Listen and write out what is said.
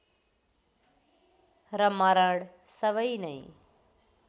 र मरण सबै नै